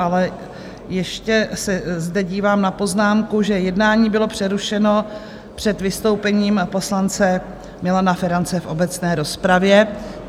Ale ještě se zde dívám na poznámku, že jednání bylo přerušeno před vystoupením poslance Milana Ferance v obecné rozpravě.